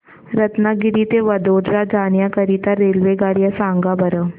रत्नागिरी ते वडोदरा जाण्या करीता रेल्वेगाड्या सांगा बरं